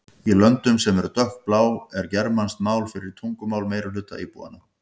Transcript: Í löndum sem eru dökkblá er germanskt mál fyrsta tungumál meirihluta íbúanna.